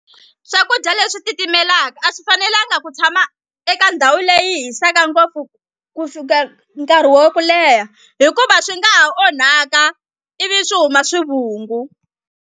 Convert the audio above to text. Swakudya leswi titimelaka a swi fanelanga ku tshama eka ndhawu leyi hisaka ngopfu ku fika nkarhi wo ku leha hikuva swi nga ha onhaka ivi swi huma swivungu.